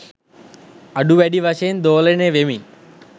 අඩු වැඩි වශයෙන් දෝලනය වෙමින්